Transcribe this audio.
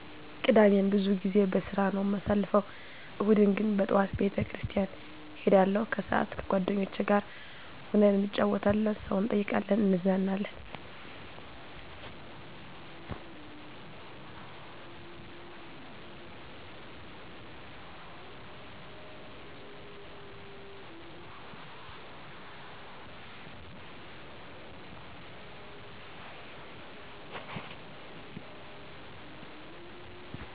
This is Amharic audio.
ቅዳሜን ብዙ ጊዜ በስራ ነው ማሳልፈው። እሁድን ግን በጠዋት ቤተ ክርስቲያን እሄዳለሁ ከሰአት ከጎደኞቸ ጋር ሁነን እንጫወታለን ሰው እንጠይቃለን እንዝናናለን።